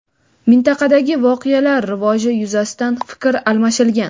Mintaqadagi voqealar rivoji yuzasidan ham fikr almashilgan.